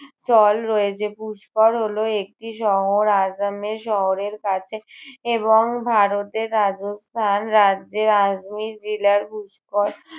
চল রয়েছে। পুষ্কর হলো একটি শহর আজামের শহরের কাছে এবং ভারতের রাজস্থান রাজ্যে আজমীর জিলার পুষ্কর